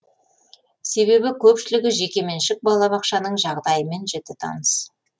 себебі көпшілігі жекеменшік балабақшаның жағдайымен жіті таныс